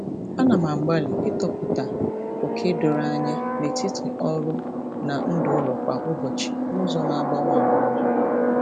Ana m agbalị ịtọpụta oke doro anya n'etiti ọrụ na ndụ ụlọ kwa ụbọchị n'ụzọ na-agbanwe agbanwe.